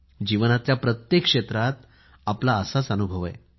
जीवनातल्या प्रत्येक क्षेत्रात आपला असाच अनुभव आहे